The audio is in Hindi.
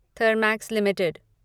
थर्मैक्स लिमिटेड